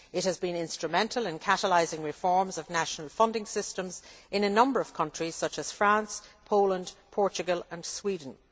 It has been instrumental in catalysing reforms of national funding systems in a number of countries such as France, Poland, Portugal and Sweden.